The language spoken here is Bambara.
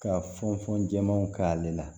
Ka fɔn fɔn jɛman k'ale la